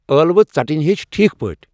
ٲلوہ ژھٹنِہ ہیچھ ٹھیک پٲٹھۍ ۔